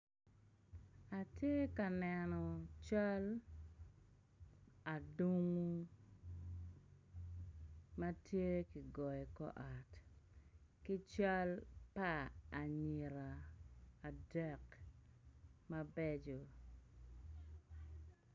Atye ka neno cal adungu ma tye kigoyo i kor ot ki cal pa anyira adek mabeco.